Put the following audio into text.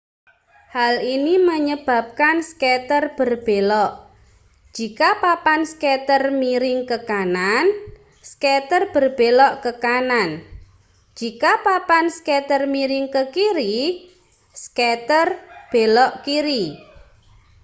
hal ini menyebabkan skater berbelok jika papan skater miring ke kanan skater berbelok ke kanan jika papan skater miring ke kiri skater belok kiri